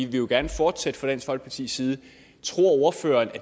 vi jo gerne fortsætter fra dansk folkepartis side tror ordføreren